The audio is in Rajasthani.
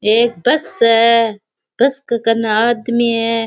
एक बस है बस के कन्ने आदमी है।